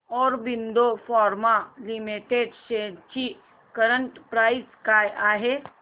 Aurobindo pharma limited shares ची current price काय आहे